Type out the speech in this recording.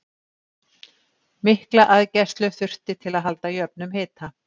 Mikla aðgæslu þurfti til að halda jöfnum hita.